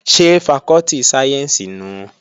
Ṣé fakọ́tì sáyẹ́ǹsì nùu?